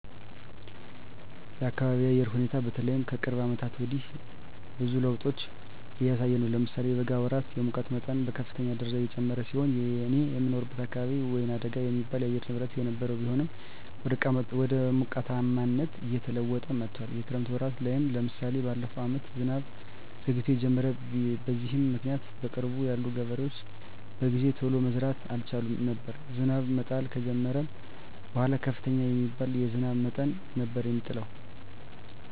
የአካቢየ የአየር ሁኔታ በተለይ ከቅርብ አመታት ወዲህ ብዙ ለዉጦች እያሳየ ነው። ለምሳሌ የበጋ ወራት የሙቀት መጠን በከፍተኛ ደረጃ የጨመረ ሲሆን እኔ የምኖርበት አካባቢ ወይናደጋ የሚባል የአየር ንብረት የነበረው ቢሆንም ወደ ሞቃታማነት እየተለወጠ መጥቶአል። የክረምት ወራት ላይም ለምሳሌ በለፈው አመት ዝናብ ዘግይቶ የጀመረው። በዚህም ምክኒያት በቅርብ ያሉ ገበሬዎች በጊዜ ቶሎ መዝራት አልቻሉም ነበር። ዝናብ መጣል ከጀመረም በኃላ ከፍተኛ የሚባል የዝናብ መጠን ነበር የሚጥለው።